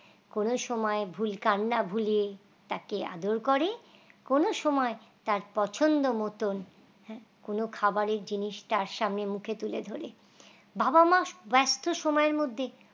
কোন সময় ভুল কান্না ভুলিয়ে তাকে আদর করে কোন সময় তার পছন্দ মতন হ্যাঁ কোন খাবারের জিনিস তার সামনে মুখে তুলে ধরে বাবা-মা ব্যস্ত সময়ের মধ্যে